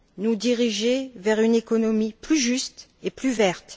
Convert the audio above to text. nous diriger vers une économie plus juste et plus verte.